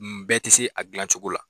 N bɛɛ tɛ se a dilan cogo la.